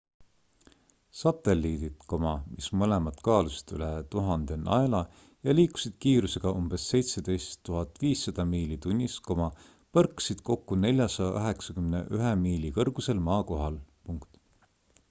satelliidid mis mõlemad kaalusid üle 1000 naela ja liikusid kiirusega umbes 17 500 miili tunnis põrkasid kokku 491 miili kõrgusel maa kohal